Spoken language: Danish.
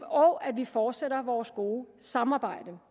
og at vi fortsætter vores gode samarbejde